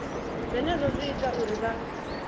zwenezwo zwi ita uri vha